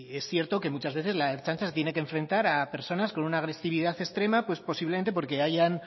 es cierto que muchas veces la ertzaintza se tiene que enfrentar a personas con una agresividad extrema posiblemente porque hayan